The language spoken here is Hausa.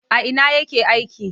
A ina yake aiki?